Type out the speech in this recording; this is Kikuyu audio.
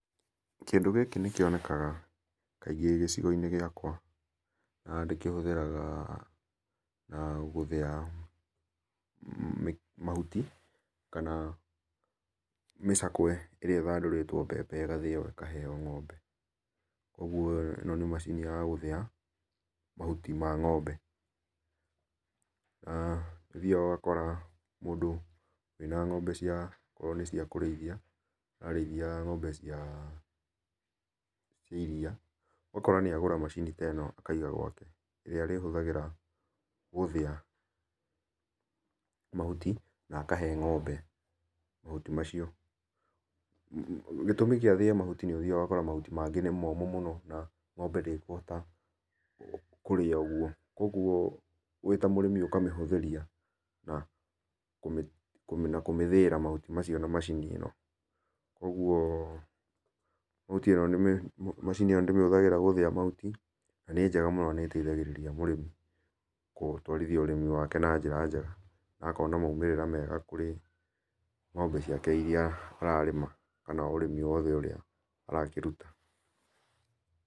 Kĩndũ gĩkĩ nĩkĩonega kaĩngĩ gĩcigo inĩ gĩakwa na ndĩkĩhũthagĩra na gũthĩa mahũtĩ kana mĩcakwe ĩrĩa ithandũrĩtwo mbembe ĩrĩa ĩgathĩo ĩkaheo ngombe kwogwo ĩno nĩ macĩnĩ ya kũthĩa mahũtĩ ma ngombe, nĩ ũthĩaga ũgakora mũndũ ĩna ngombe cĩa ono koro nĩ cĩa kũreĩthĩa arareĩthĩa ngombe cia iria akagũra macini akaĩga gwake akahũthagĩra kũthĩa mahũtĩ na akahee ngombe mahũtĩ macio, gĩtũmĩ kĩa athĩe mahũtĩ macio gĩtũmĩ gĩa gũthĩa mahũti nĩ ũthĩaga ũgakora mahũtĩ mangĩ nĩ momũ mũno ngombe ndĩkũhota kũrĩa ũgwo wĩ ta mũrĩmi ũkamĩhũthĩrĩa na kũmĩthĩĩra mahũtĩ macĩo na macini ĩno. Kwogwo macini ĩno ndĩmĩhũthagĩra gũthĩa mahũtĩ na njega mũno na nĩ ĩteithagĩrĩrĩa mũrĩmi gũtwarĩthĩa ũrĩmĩ wake na njĩra jega na akona maũmĩrĩra mega kũrĩ ngombe cĩake irĩa ararĩma kana ũrĩmi wothe arakĩrũta.